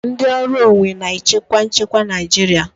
Ndị ọrụ onwe na-echekwa nchekwa Naijiria.